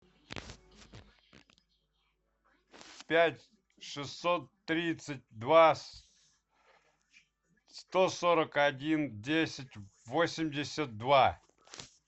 пять шестьсот тридцать два сто сорок один десять восемьдесят два